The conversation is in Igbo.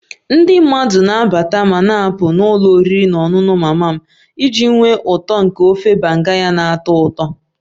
Ndị mmadụ na-abata ma na-apụ n'ụlọ oriri na ọṅụṅụ mama m iji nwee uto nke ofe banga ya na-atọ ụtọ